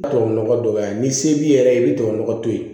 Tubabunɔgɔ ye ni se b'i yɛrɛ ye i bɛ tubabunɔgɔ to ye